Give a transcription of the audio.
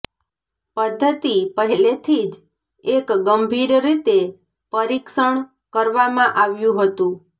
પદ્ધતિ પહેલેથી જ એક ગંભીર રીતે પરીક્ષણ કરવામાં આવ્યું હતું